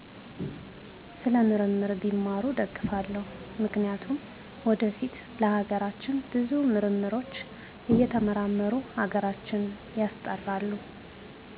ስለ ምርምር ቢማሩ እደግፋለው ምክንያቱም ወደፊት ለሀገራችን ብዙ ምርምሮች እየተመራመሩ ሀገራተ ሀገራችን ያስጠራሉ